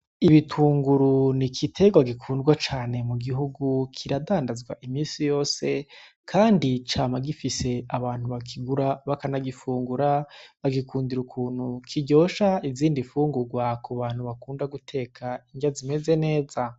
Ibitunguru ni igitegwa gikundwa cane mu gihugu, kiradandazwa imisi yose kandi cama gifise abantu bakigura bakanagifungura bagikundira ukuntu kiryosha izindi mfungugwa ku bantu bakunda guteka indya zimeze neza.